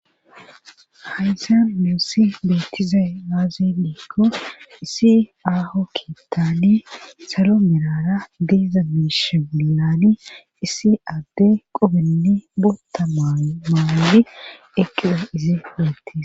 haysan nussi betizay aazeliko isi aaho kitaani saromerara diiza mishamiilaani isi adde qobenne bota maaydi eqila izi bettes